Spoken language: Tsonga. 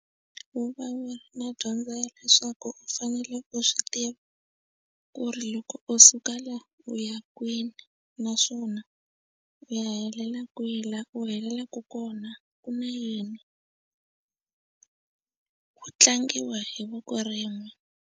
Vuvavi na dyondza leswaku u fanele u swi tiva ku ri loko u suka laha u ya kwini naswona u ya helela kwihi laha u helelaka kona ku na yini ku tlangiwa hi voko rin'we.